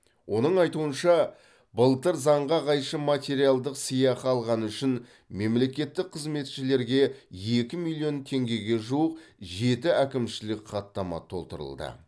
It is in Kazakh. оның айтуынша былтыр заңға қайшы материалдық сыйақы алғаны үшін мемлекеттік қызметшілерге екі миллион теңгеге жуық жеті әкімшілік хаттама толтырылды